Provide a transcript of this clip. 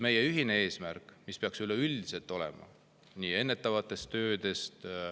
Meie ühine eesmärk peaks üleüldiselt olema ennetav töö.